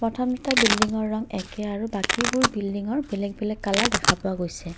প্ৰথম দুটা বিল্ডিংৰ ৰং একে আৰু বাকীবোৰ বিল্ডিংৰ বেলগ বেলেগ কালাৰ দেখা পোৱা গৈছে।